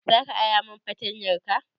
Za ka ara min fartanyarka?